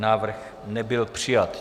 Návrh nebyl přijat.